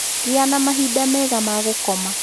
Gĩa na mahinda mega ma gũkoma.